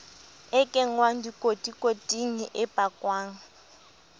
e kenngwang dikotikoting e pakwang